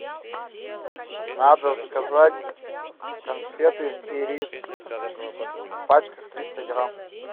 надо заказать конфеты ирис в пачках триста грамм